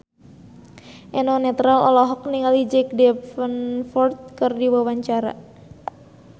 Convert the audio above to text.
Eno Netral olohok ningali Jack Davenport keur diwawancara